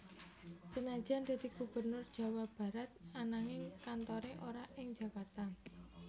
Senajan dadi Gubernur Jawa Barat ananging kantore ora ing Jakarta